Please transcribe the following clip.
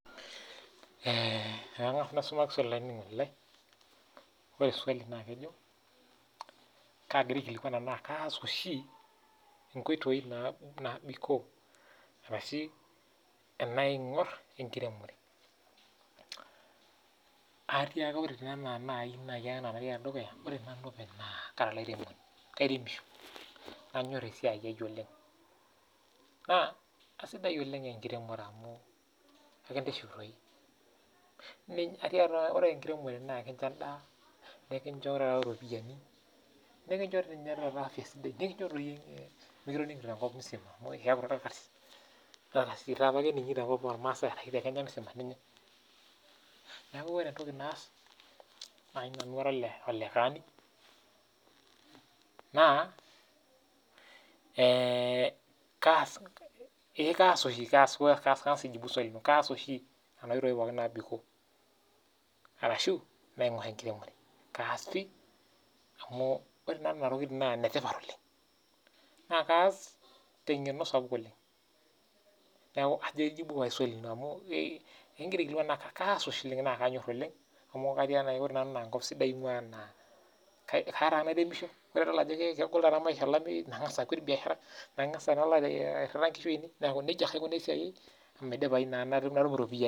Ee ore swali nakejo, kagira aikilikwan anaa kaas oshi nkoitoi nabikoo ashu enaingur enkiremore atiiaka na ore nanu openy na kara olairemonisho kairemisho nanyor esiai aau oleng ore enkiremore na ekincho endaa nikincho ropiyani nikicho afya sidai nikicho mikitoningi tenkop musima amu keaku orkarsisi amu orkarsis ake eninngori tekenya musima neaku ore entoki naas nai nanu ara olekaani naa kaas oshi enoshi toki nabikoo ashu naingur enkiremore kaas pii amu oee nonatokitin na enetipat oleng na kaas tengeno sapuk oleng amu ore nanu na enkop sidai aingua keya nairemisho ore padol ajokegol olameyu nangas akwet biashara airira nkishu ainei neaku nejia aikunaa esiai aai amainoto ropiyani